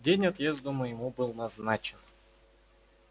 день отъезду моему был назначен